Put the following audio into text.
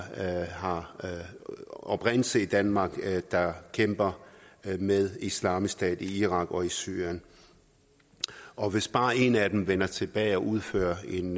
har oprindelse i danmark der kæmper med islamisk stat i irak og i syrien og hvis bare en af dem vender tilbage og udfører en